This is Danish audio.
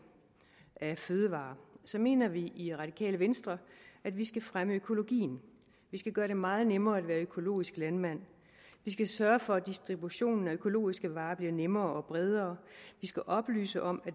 af fødevarer mener vi i de radikale venstre at vi skal fremme økologien vi skal gøre det meget nemmere at være økologisk landmand vi skal sørge for at distributionen af økologiske varer bliver nemmere og bredere vi skal oplyse om